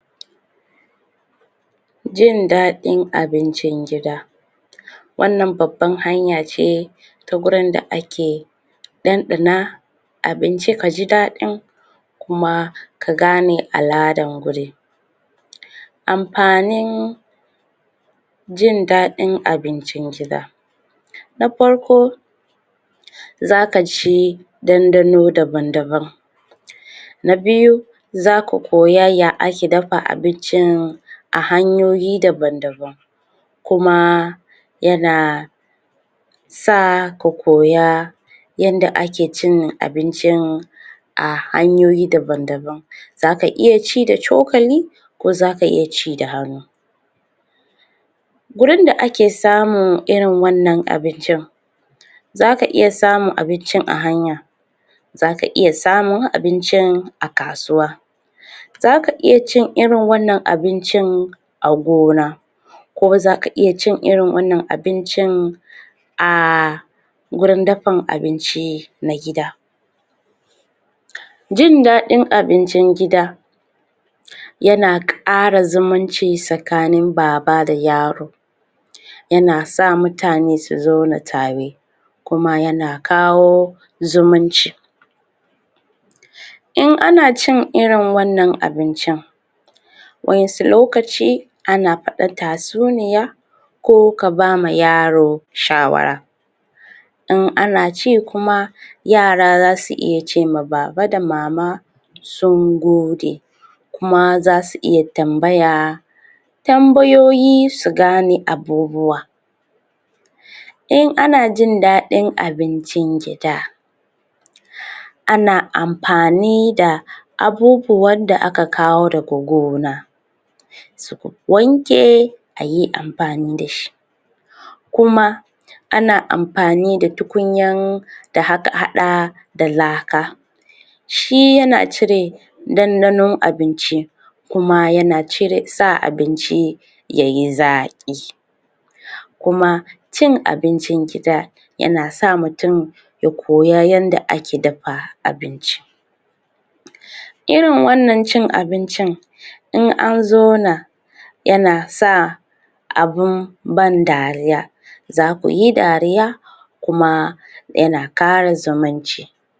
jin daɗin abincin gida wannan babban hanya ce ta gurin da ake ɗanɗana abinci kaji daɗin kuma ka gane al'adan gurin. amfanin jin daɗin abincin gida na farko zaka ji dandano daban-daban na biyu zaku koya ya ake dafa abincin a hanyoyi daban-daban. kuma yana sa ku koya yanda ake cin abincin a hanyoyi daban-daban zaka iya ci da cokali ko zaka iya ci da hannu. gurin da ake samun irin wannan abincin zaka iya samun abincin a hanya zaka iya samun abincin a kasuwa zaka iya cin irin wannan abincin a gona kuma zaka iya cin irin wannan abincin a gurin dafin abinci na gida. jin daɗin abincin gida yana ƙara zumunci tsakanin baba da yaro yana sa mutane su zauna tare kuma yana kawo zumunci. in ana cin irin wannan abincin wa'insu lokaci ana faɗa tasuniya ko kabama yaro shawara. in ana ci kuma yara zasu iya cema baba da mama sun gode. kuma zasu iya tambaya tambayoyi su gane abubuwa. in ana jin daɗin abincin gida ana amfani da abubuwan da aka kawo daga gona ku wanke ayi amfani dashi kuma ana amfani da tukunyan da aka haɗa da laka. shi yana cire dandanon abinci kuma yana cire sa abinci yayi zaƙi. kuma cin abincin gida yana sa mutum ya koya yanda ake dafa abinci. irin wannan cin abincin in an zona yana sa abun ban dariya. za kuyi dariya kuma yana kara zumunci.